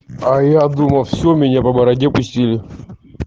а я думал все меня по бороде пустили